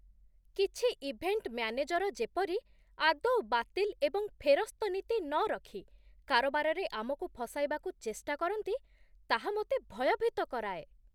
କିଛି event manager ଯେପରି, ଆଦୌ ବାତିଲ ଏବଂ ଫେରସ୍ତ ନୀତି ନରଖି, କାରବାରରେ ଆମକୁ ଫସାଇବାକୁ ଚେଷ୍ଟା କରନ୍ତି ତାହା ମୋତେ ଭୟଭୀତ କରାଏ।